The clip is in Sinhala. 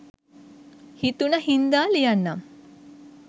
හිතුන හින්දා ලියන්නම්.